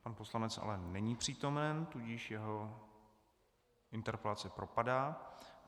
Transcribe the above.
Pan poslanec ale není přítomen, tudíž jeho interpelace propadá.